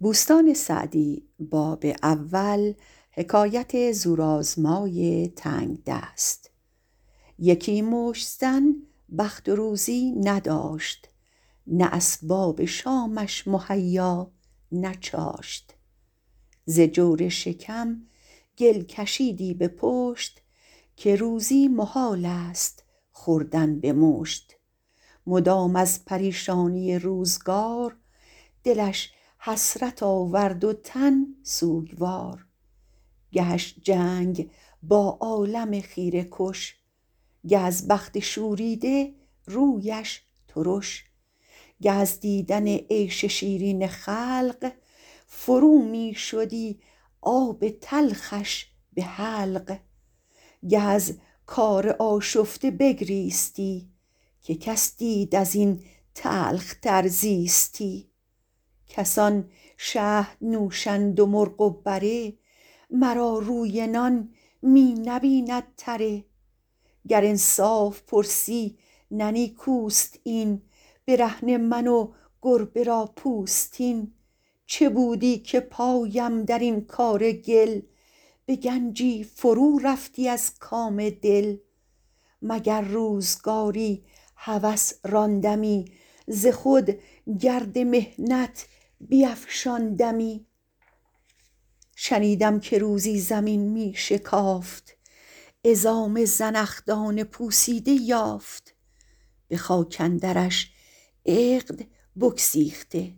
یکی مشت زن بخت و روزی نداشت نه اسباب شامش مهیا نه چاشت ز جور شکم گل کشیدی به پشت که روزی محال است خوردن به مشت مدام از پریشانی روزگار دلش حسرت آورد و تن سوگوار گهش جنگ با عالم خیره کش گه از بخت شوریده رویش ترش گه از دیدن عیش شیرین خلق فرو می شدی آب تلخش به حلق گه از کار آشفته بگریستی که کس دید از این تلخ تر زیستی کسان شهد نوشند و مرغ و بره مرا روی نان می نبیند تره گر انصاف پرسی نه نیکوست این برهنه من و گربه را پوستین چه بودی که پایم در این کار گل به گنجی فرو رفتی از کام دل مگر روزگاری هوس راندمی ز خود گرد محنت بیفشاندمی شنیدم که روزی زمین می شکافت عظام زنخدان پوسیده یافت به خاک اندرش عقد بگسیخته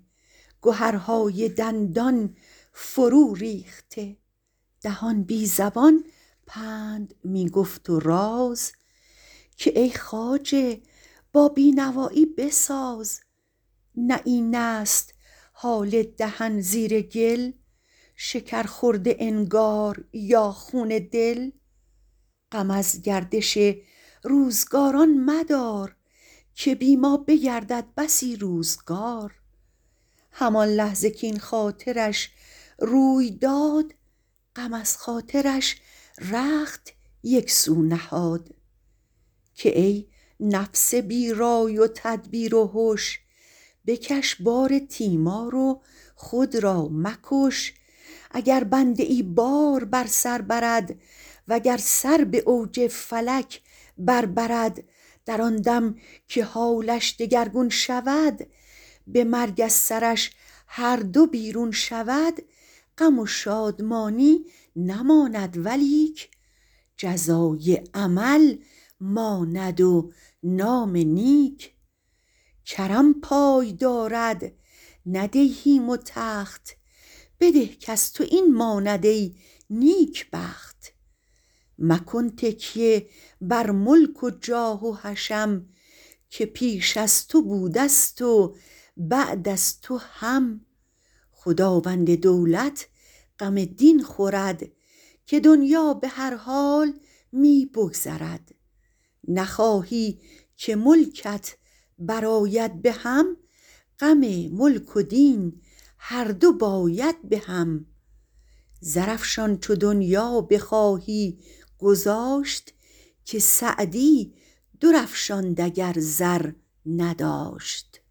گهرهای دندان فرو ریخته دهان بی زبان پند می گفت و راز که ای خواجه با بینوایی بساز نه این است حال دهن زیر گل شکر خورده انگار یا خون دل غم از گردش روزگاران مدار که بی ما بگردد بسی روزگار همان لحظه کاین خاطرش روی داد غم از خاطرش رخت یک سو نهاد که ای نفس بی رای و تدبیر و هش بکش بار تیمار و خود را مکش اگر بنده ای بار بر سر برد وگر سر به اوج فلک بر برد در آن دم که حالش دگرگون شود به مرگ از سرش هر دو بیرون شود غم و شادمانی نماند ولیک جزای عمل ماند و نام نیک کرم پای دارد نه دیهیم و تخت بده کز تو این ماند ای نیکبخت مکن تکیه بر ملک و جاه و حشم که پیش از تو بوده ست و بعد از تو هم خداوند دولت غم دین خورد که دنیا به هر حال می بگذرد نخواهی که ملکت برآید بهم غم ملک و دین هر دو باید بهم زرافشان چو دنیا بخواهی گذاشت که سعدی در افشاند اگر زر نداشت